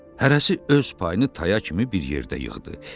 Hərəsi öz payını taya kimi bir yerdə yığdı.